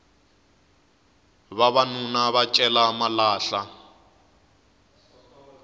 vavanuna va cela malahla